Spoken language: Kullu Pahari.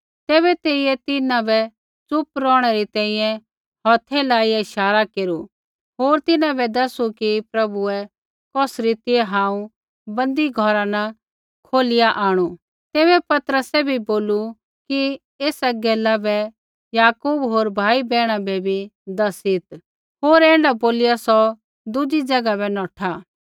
तैबै तेइयै तिन्हां बै च़ुप रौहणै री तैंईंयैं हौथै लाइआ इशारा केरू होर तिन्हां बै दैसू कि प्रभुऐ कौस रीतिऐ हांऊँ बन्दी घौरा न कौढिआ आंणु तैबै पतरसै भी बोलू कि एसा गैला बै याकूब होर भाई बैहणा बै बी दैसीत् होर ऐण्ढा बोलिआ सौ दुज़ी ज़ैगा बै नौठा